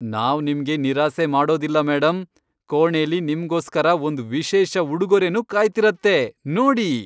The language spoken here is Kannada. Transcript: ನಾವ್ ನಿಮ್ಗೆ ನಿರಾಸೆ ಮಾಡೋದಿಲ್ಲ, ಮೇಡಂ. ಕೋಣೆಲಿ ನಿಮ್ಗೋಸ್ಕರ ಒಂದ್ ವಿಶೇಷ ಉಡುಗೊರೆನೂ ಕಾಯ್ತಿರತ್ತೆ, ನೋಡಿ.